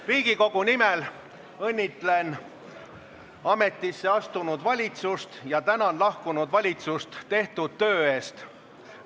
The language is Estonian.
Riigikogu nimel õnnitlen ametisse astunud valitsust ja tänan lahkunud valitsust tehtud töö eest.